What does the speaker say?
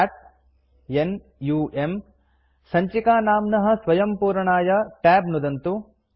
cat n u म् संचिकानाम्नः स्वयं पूरणाय tab नुदन्तु